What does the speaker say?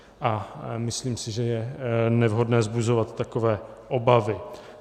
A myslím si, že je nevhodné vzbuzovat takové obavy.